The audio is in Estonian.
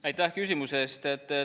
Aitäh küsimuse eest!